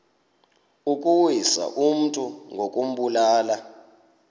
ukuwisa umntu ngokumbulala